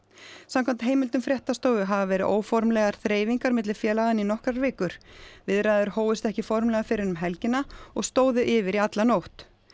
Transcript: samkvæmt heimildum fréttastofu hafa verið óformlegar þreifingar milli félaganna í nokkrar vikur viðræður hófust ekki formlega fyrr en um helgina og stóðu yfir í alla nótt